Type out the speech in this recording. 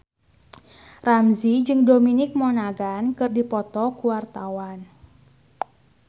Ramzy jeung Dominic Monaghan keur dipoto ku wartawan